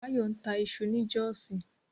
Báyọ̀ ń ta iṣu ni Jọ́ọ̀sí